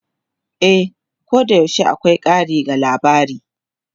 E, koyaushe akwai ƙari ga labari.